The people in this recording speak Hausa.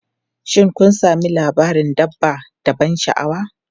Shin kun sami labarin dabba da ban sha'awa?